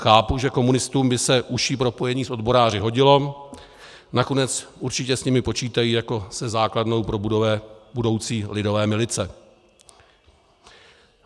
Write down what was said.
Chápu, že komunistům by se užší propojení s odboráři hodilo, nakonec určitě s nimi počítají jako se základnou pro budoucí lidové milice.